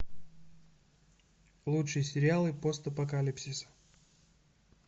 лучшие сериалы постапокалипсиса